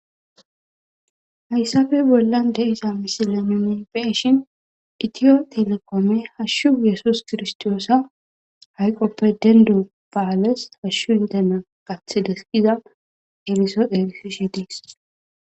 Hayssafe bollan de'izayssi misile nuni be'ishshin itiyo telekome hashshu yesus kirstoosa hayqoppe dendu ba'ales hashshu intena qaththidees giza erisso erissidi dees